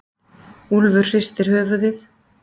Úlfur hristir höfuðið.